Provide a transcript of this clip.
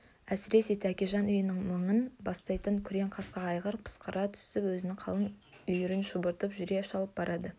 әсіресе тәкежан үйінің мыңын бастайтын күрең қасқа айғыр пысқыра түсіп өзінің қалың үйірін шұбыртып жүре шалып барады